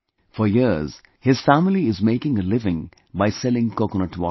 For years, her family is making a living by selling coconut water